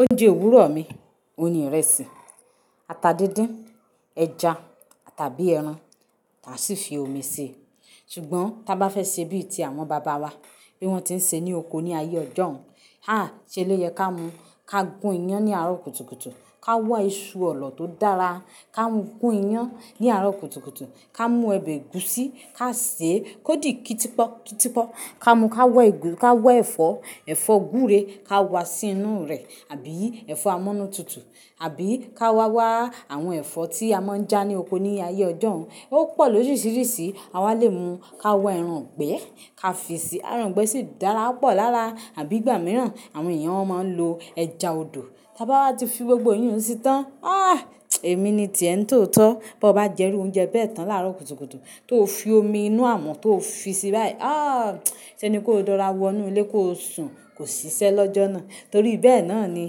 Oúnjẹ òwúrọ̀ mi òun ni ìrẹsì, ata díndín, ẹja tàbí ẹran, à sì fi omi ṣe. Ṣùgbọ́n tí a bá fẹ́ ṣe bí ti àwọn bàbá wa bí wọ́n ti ń ṣe ní oko ní ayé ọjọ́un, áàá ṣé lè yẹ ká mu, ká gún iyán ní àárọ̀ kùtùkùtù, ká wá iṣu ọ̀lọ̀ tó dára, ká gún iyán ní àárọ̀ kùtùkùtù, ká mú ẹbẹ gúúsí, ká sè kó di kítipọ́kítipọ́. Ká mú ká wọ́ èfó, ẹfọ́ gúúre ká wá sí inú rẹ̀ àbí ẹfọ́ amúnútutù, àbí ká wá wá àwọn ẹ̀fọ́ tí a máa ń já ní oko ní ayé ọjọ́un. Ó pọ̀ lóríṣiríṣi. A wá lè mu ká wá ẹran gbẹ, ká fi sí. Ẹran gbẹ ṣì dára púpọ̀ lára àbí ìgbà mìíràn àwọn èèyàn a máa lò ẹja odò. Bá ti fi gbogbo eyun sí tán, áàá èmi ni ti èn tó tọ́. Bí ó bá jẹ rú oúnjẹ bẹ́ẹ̀ tán láàárọ̀ kùtùkùtù tó fi omi inú àmọ̀ tó fi sí i báyìí. Áàá ṣé ni kó dọ́ra wo inú ilé kó sùn, kò ṣiṣẹ́ lọ́jọ́ náà. Torí bẹ́ẹ̀ náà ni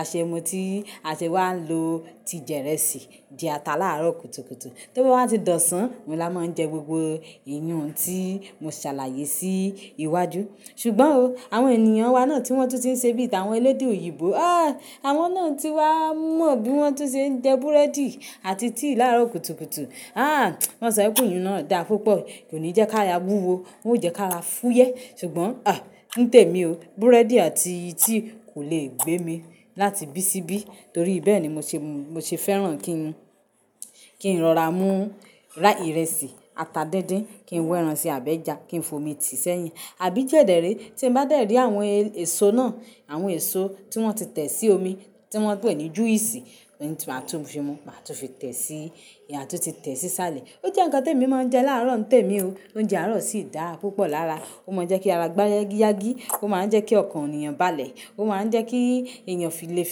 àṣemu tí aṣẹ wa lò ti jẹ ìrẹsì jẹ ata láàárọ̀ kùtùkùtù. Tó bá ti dọ̀san, mo lá máa ń jẹ gbogbo eyun tí mo ṣàlàyé sí iwájú. Ṣùgbọ́n ooo àwọn ènìyàn wa náà tí wọ́n tún ti ń ṣe bí àwọn elédè òyìnbó. Áàá àwọn náà tí wá mọ bí wọ́n ti ń jẹ búrẹ́dì àti tíì láàárọ̀ kùtùkùtù. Áàá wọ́n ṣẹ́ pe eyùn náà dá púpọ̀. Kò ní jẹ́ ká ra wúwo, yo jẹ́ ká ra fúyẹ́. Ṣùgbọ́n à ní tèmi o, búrẹ́dì àti tíì kò lè gbé mi láti bí síbí torí bẹ́ẹ̀ ni mo ṣe fẹ́ràn kí ń rọra mú ra ìrẹsì ata díndín, kí n wẹ ẹran si àbí ẹja kí n fo omi ti isẹ́ yin. Àbí kẹ ẹdẹrẹ́ tí n bá dẹ́rìí àwọn èso náà, àwọn èso tí wọ́n ti tẹ̀ sí omi, tí wọ́n pè ní juice, mo máa tún fi mu, máa tún fi tẹ̀ sí, mà tún fi tẹ̀ sí sálẹ̀. Ó jẹ́ ǹkan te mi máa ń jẹ láàárọ̀ ń temi o. Oúnjẹ àárọ̀ sì dára púpọ̀ lára. Ó máa ń jẹ́ kí ara gbá yágíyágí, ó máa ń jẹ́ kí ọkàn ènìyàn balẹ̀, ó máa ń jẹ́ kí èèyàn lè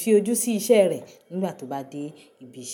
fi ojú sí isẹ́ rẹ̀ nígbà tó bá dé ibi iṣẹ́.